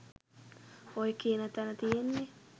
ඔය කියන තැන තියෙන්නේ